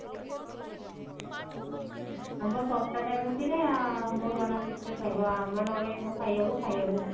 ଆମ୍ବ ଶସ୍ତା time ଭିତରେ ଆମ୍ବ ପଣସ ଖାଇବ ଆମ୍ବ ନହେଲେ କଣ ଖାଇହବ ଖାଇହବନି